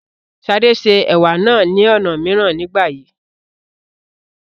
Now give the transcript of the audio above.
Ṣadé se Ẹ̀wà náà ní ọ̀nà mìíràn nígbà yìí.